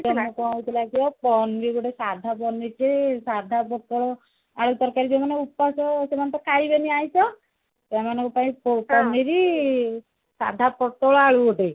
ପନିରି ଗୋଟେ ସାଧା ପନିରି ଟେ ସାଧା ପୋଟଳ ଆଳୁ ତରକାରୀ ସେମାନେ ତ ଉପାସ ସେମାନେ ତ ଖାଇବେନି ଆଁଇଷ ସେମାନଙ୍କ ପାଇଁ ପନିରି ସାଧା ପୋଟଳ ଆଳୁ ଗୋଟେ